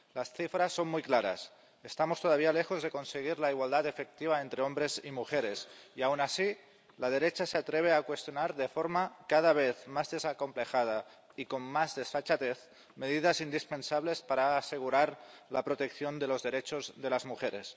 Las cifras son muy claras estamos todavía lejos de conseguir la igualdad efectiva entre hombres y mujeres. Y, aun así, la derecha se atreve a cuestionar, de forma cada vez más desacomplejada y con más desfachatez, medidas indispensables para asegurar la protección de los derechos de las mujeres.